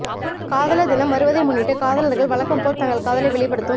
காதலர் தினம் வருவதை முன்னிட்டு காதலர்கள் வழக்கம் போல தங்கள் காதலை வெளிப்படுத்தும்